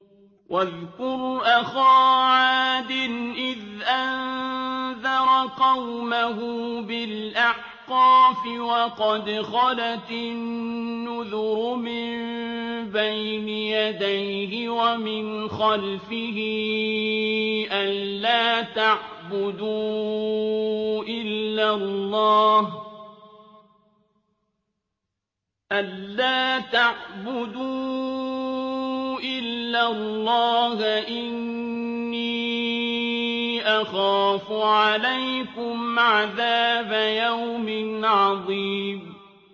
۞ وَاذْكُرْ أَخَا عَادٍ إِذْ أَنذَرَ قَوْمَهُ بِالْأَحْقَافِ وَقَدْ خَلَتِ النُّذُرُ مِن بَيْنِ يَدَيْهِ وَمِنْ خَلْفِهِ أَلَّا تَعْبُدُوا إِلَّا اللَّهَ إِنِّي أَخَافُ عَلَيْكُمْ عَذَابَ يَوْمٍ عَظِيمٍ